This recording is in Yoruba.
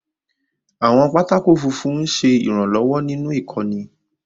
Àwọn pátákó funfun ń ṣe ìrànlọ́wọ́ nínú ìkọ́ni.